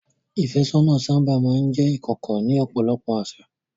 Ìfẹ́sọ́nà sábà máa ń jẹ́ ìkọ̀kọ̀ ní ọ̀pọ̀lọpọ̀ àṣà.